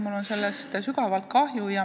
Mul on sellest sügavalt kahju.